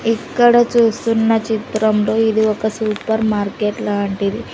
ఇక్కడ చూస్తున్న చిత్రంలో ఇది ఒక సూపర్ మార్కెట్ లాంటిది.